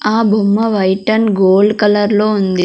ఆ బొమ్మ white and gold colour లో ఉంది.